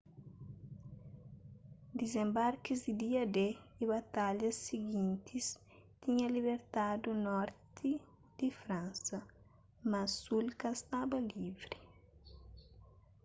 dizenbarkis di dia-d y batalhas sigintis tinha libertadu norti di fransa mas sul inda ka staba livri